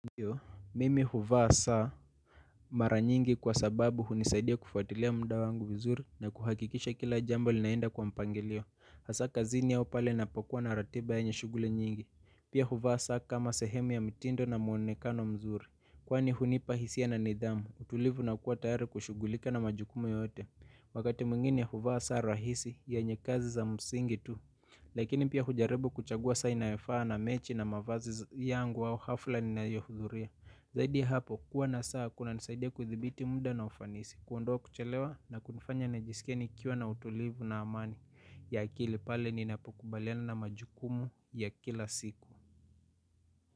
Ndio mimi huvaa saa mara nyingi kwa sababu hunisaidia kufuatilia muda wangu vizuri na kuhakikisha kila jambo linaenda kwa mpangilio hasa kazini au pale ninapokuwa na ratiba yenye shuguli nyingi pia huvaa saa kama sehemu ya mitindo na muonekano mzuri kwani hunipaa hisia na nidhamu utulivu na kuwa tayari kushugulika na majukumu yote. Wakati mwingine huvaa saa rahisi yenye kazi za msingi tu. Lakini pia hujarebu kuchagua saa inayofaa na mechi na mavazi yangu au hafla ninayohuthuria. Zaidi hapo kuwa na saa kunanisaidia kuthibiti muda na ufanisi kuondoa kuchelewa na kunifanya nijisikie nikiwa na utulivu na amani ya akili pale ninapokubaliana na majukumu ya kila siku.